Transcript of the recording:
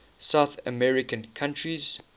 south american countries